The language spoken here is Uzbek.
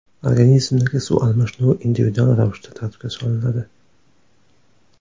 Organizmdagi suv almashinuvi individual ravishda tartibga solinadi.